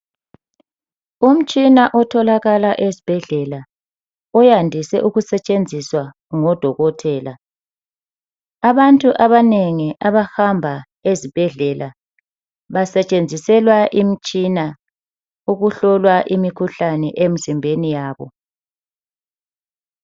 Umutshina otholakala esibhedlela oyandise ukusetshenziswa ngodokotela, abantu abanengi abahamba ezibhedlela basetshenziselwa imitshina ukuhlolwa imikhuhlane emzimbeni yabo.